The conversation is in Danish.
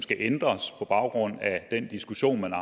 skal ændres på baggrund af den diskussion man har